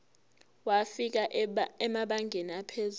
wafika emabangeni aphezulu